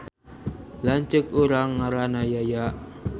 Lanceuk urang ngaranna Yaya